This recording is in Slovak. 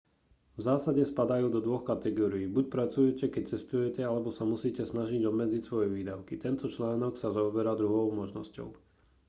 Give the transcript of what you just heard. v zásade spadajú do dvoch kategórií buď pracujete keď cestujete alebo sa musíte snažiť obmedziť svoje výdavky tento článok sa zaoberá druhou možnosťou